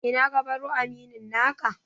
Ina ka baro aminin naka?